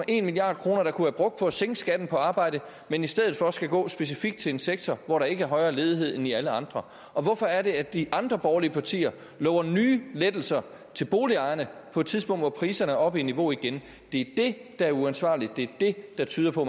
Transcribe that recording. en milliard kr der kunne være brugt på at sænke skatten på arbejde men i stedet for skal gå specifikt til en sektor hvor der ikke er højere ledighed end i alle andre og hvorfor er det at de andre borgerlige partier lover nye lettelser til boligejerne på et tidspunkt hvor priserne er oppe i niveau igen det er det der er uansvarligt det er det der tyder på